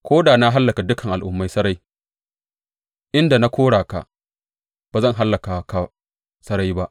Ko da na hallaka dukan al’ummai sarai inda na kora ka, ba zan hallaka ka sarai ba.